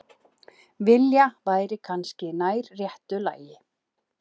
Enda er málinu heldur ekki lokið.